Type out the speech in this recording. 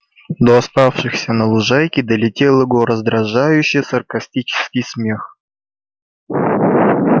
до оставшихся на лужайке долетел его раздражающе саркастический смех